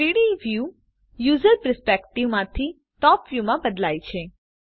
3ડી view user perspective માંથી top view માં બદલાય છે